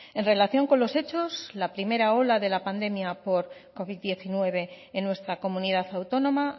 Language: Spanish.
en relación con los hechos la primera ola de la pandemia por covid diecinueve en nuestra comunidad autónoma